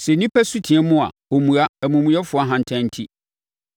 Sɛ nnipa su team a, ɔmmua, amumuyɛfoɔ ahantan enti.